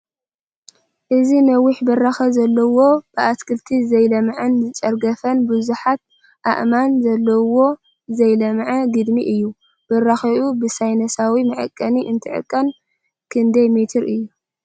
እዚ ነዊሕ ብራከ ዘለዎ ብኣትክልቲ ዘይለምዐን ዝጨርገፈን ብዙሓት ኣእማን ዘለዉዎ ዘይለምዐ ግድሚ እዩ፡፡ ብራኪኡ ብሳይነሳዊ መዐቀኒ እንትዕቀን ክንደይ ሜትር እዩ?